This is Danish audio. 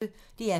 DR P1